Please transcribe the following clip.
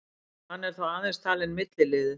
Hann er þó aðeins talinn milliliður